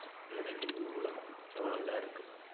ஊடகம் எவ்வளவு இதா இருக்குதுன்னு